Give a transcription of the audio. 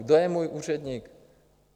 Kdo je můj úředník?